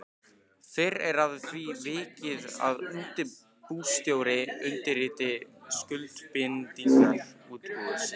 Fyrr er að því vikið að útibússtjóri undirriti skuldbindingar útibúsins.